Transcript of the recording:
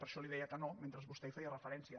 per això li deia que no mentre vostè hi feia referència